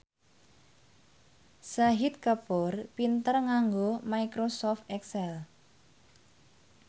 Shahid Kapoor pinter nganggo microsoft excel